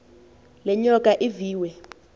le nyoka iviwe